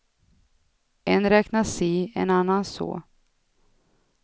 En räknar si, en annan så.